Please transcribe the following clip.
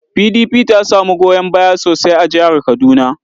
PDP ta samu goyon baya sosai a jihar Kaduna.